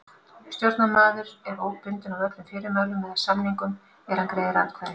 Stjórnarmaður er óbundinn af öllum fyrirmælum eða samningum er hann greiðir atkvæði.